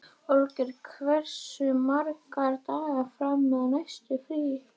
Olgeir, hversu margir dagar fram að næsta fríi?